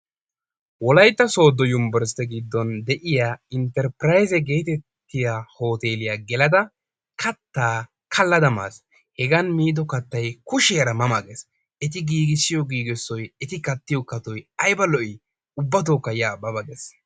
Wolaytta sooddo yunbberstte giddon de'iya intterppiraayzze getettiya hootteeliya gelada kattaa kalada maas. Hegan miido kattay kushiyaara ma ma gees. Eti giggisiyo giggisoy eti kattiyo kattoy ayba lo"i ubbatokka ya ba ba gees.